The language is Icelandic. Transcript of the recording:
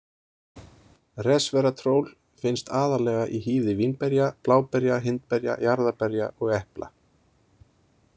Resveratról finnst aðallega í hýði vínberja, bláberja, hindberja, jarðarberja og epla.